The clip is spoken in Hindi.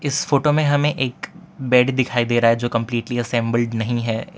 इस फोटो में हमें एक बेड दिखाई दे रहा है जो कंपलीटली असेंबल्ड नहीं है।